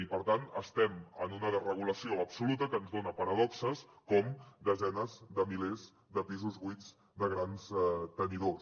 i per tant estem en una desregulació absoluta que ens dona paradoxes com desenes de milers de pisos buits de grans tenidors